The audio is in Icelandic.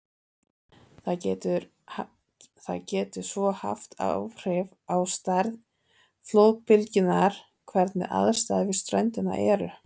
Það getur svo haft áhrif á stærð flóðbylgjunnar hvernig aðstæður við ströndina eru.